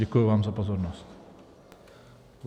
Děkuji vám za pozornost.